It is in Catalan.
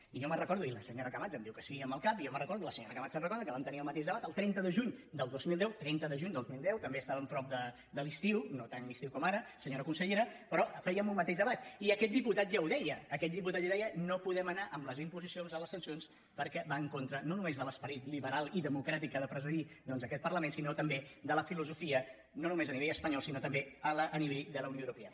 i jo me’n recordo i la senyora camats em diu que sí amb el cap i jo me’n recordo i la senyora camats se’n recorda que vam tenir el mateix debat el trenta de juny del dos mil deu trenta de juny del dos mil deu també estàvem a prop de l’estiu no tan estiu com ara senyora consellera però fèiem un mateix debat i aquest diputat ja ho deia no podem anar amb les imposicions de les sancions perquè van en contra no només de l’esperit liberal i democràtic que ha de presidir doncs aquest parlament sinó també de la filosofia no només a nivell espanyol sinó també a nivell de la unió europea